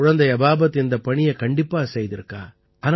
குழந்தை அபாபத் இந்தப் பணியை கண்டிப்பாக செய்துவிட்டாள்